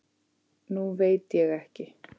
Nú veit ég ekki.